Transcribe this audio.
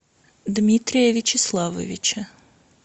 дмитрия вячеславовича